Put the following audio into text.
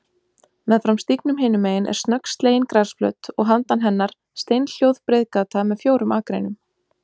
Meðfram stígnum hinumegin er snöggslegin grasflöt og handan hennar steinhljóð breiðgata með fjórum akreinum.